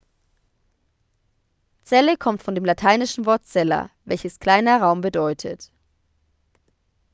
zelle kommt von dem lateinischen wort cella welches kleiner raum bedeutet